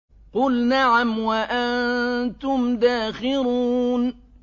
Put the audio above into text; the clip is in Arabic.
قُلْ نَعَمْ وَأَنتُمْ دَاخِرُونَ